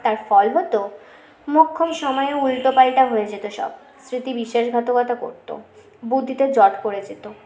তার ফল হত মোক্ষম সময়ে উল্টো পাল্টা হয়ে যেত সব স্মৃতি বিশ্বাসঘাতকতা করত বুদ্ধিতে জট পড়ে যেত